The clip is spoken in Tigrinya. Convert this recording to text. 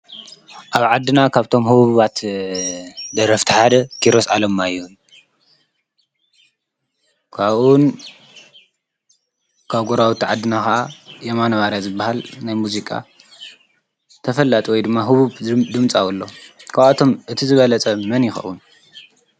ኣብ ዓድና ካብቶም ህቦባት ደረፍቲ ሓደ ኪሮስ ዓለማይሁን ኳኡን ካብ ጐራዊተ ዓድና ኸዓ የማነባርያ ዝበሃል ናይ ሙዚቃ ተፈላጥ ወይ ድማ ህቡብ ድምጻውሎ ካብኣቶም እቲ ዝበለጸ መን ይኸዉን?